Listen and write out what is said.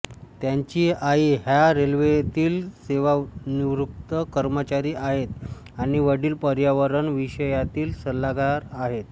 त्यांची आई ह्या रेल्वेतील सेवानिवृत्त कर्मचारी आहेत आणि वडील पर्यावरण विषयातील सल्लागार आहेत